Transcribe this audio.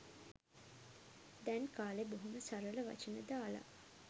දැන් කාලේ බොහොම සරල වචන දාලා